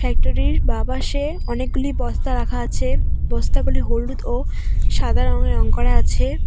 ফ্যাক্টরির বাঁ পাশে অনেকগুলি বস্তা রাখা আছে বস্তাগুলি হলুদ ও সাদা রঙে রং করা আছে।